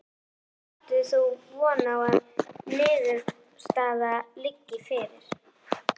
Hvenær átt þú von á að niðurstaða liggi fyrir?